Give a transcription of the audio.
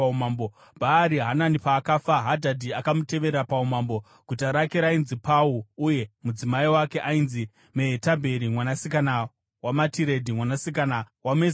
Bhaari Hanani paakafa, Hadhadhi akamutevera paumambo. Guta rake rainzi Pau uye mudzimai wake ainzi Mehetabheri, mwanasikana waMatiredhi, mwanasikana waMe-Zahabhi.